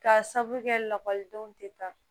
Ka sababu kɛ lakɔlidenw tɛ taa